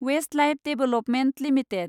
Westlife development limited